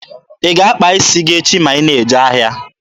Ị ga-akpa isi gị echi ma ị na-eje ahịa?